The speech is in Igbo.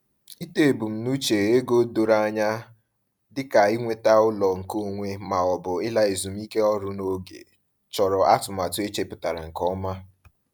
Ịtọ ebumnuche ego doro anya dịka inweta ụlọ nke onwe ma ọ bụ ịla ezumike ọrụ n’oge chọrọ atụmatụ e chepụtara nke ọma.